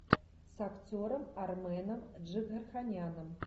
с актером арменом джигарханяном